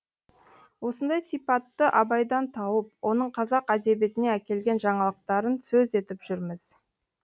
осындай сипатты абайдан тауып оның қазақ әдебиетіне әкелген жаңалықтарын сөз етіп жүрміз